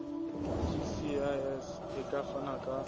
gcis e ka fana ka